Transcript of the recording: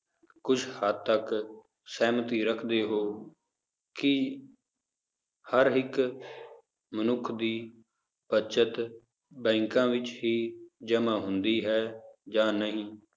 ਕੁਛ ਹੱਦ ਤੱਕ ਸਹਿਮਤੀ ਰੱਖਦੇ ਹੋ ਕਿ ਹਰ ਇੱਕ ਮਨੁੱਖ ਦੀ ਬਚਤ ਬੈਂਕਾਂ ਵਿੱਚ ਹੀ ਜਮਾਂ ਹੁੰਦੀ ਹੈ ਜਾਂ ਨਹੀਂ।